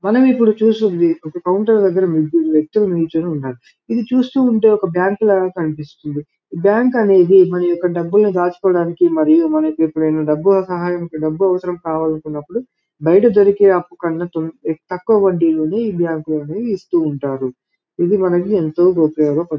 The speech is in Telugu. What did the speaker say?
మనం ఇప్పుడు చూస్తుంది ఒక కౌంటర్ దగ్గర ముగ్గురు వ్యక్తులు నిల్చొని ఉన్నారు ఇది చూస్తూ ఉంటె ఒక బ్యాంకు ల కనిపిస్తుంది బ్యాంకు అనేది మన యొక్క డబ్బులు దాచుకోడానికి మరియు మనకి ఎప్పుడైనా డబ్బులు సహాయం డబ్బు అవసరం కావలనప్పుడు బయట దొరికే అప్పుకన్నా ఏ తక్కువ వడ్డీ లోనే ఈ బ్యాంకు లోనే ఇస్తూ ఉంటారు ఇది మనకి ఎంతో ఉపయోగ అపడు --